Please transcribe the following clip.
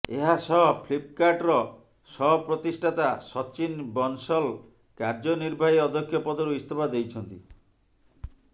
ଏହାସହ ଫ୍ଲିପକାର୍ଟର ସହ ପ୍ରତିଷ୍ଠାତା ସଚିନ ବନ୍ସଲ କାର୍ଯ୍ୟ ନିର୍ବାହୀ ଅଧ୍ୟକ୍ଷ ପଦରୁ ଇସ୍ତଫା ଦେଇଛନ୍ତି